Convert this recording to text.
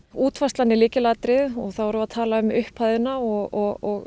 útfærslan er lykilatriði og þá erum við að tala um upphæðina og